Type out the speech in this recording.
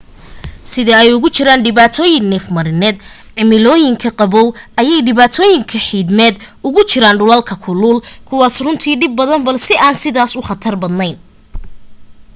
sida ay uga jiraan dhibaatooyin neefmarineed cimilooyinka qaboow ayay dhibaatooyin xiidmeed ugu jiraan dhulalka kulul kuwaas runtii dhib badan balse aan sidaas u khatar badnayn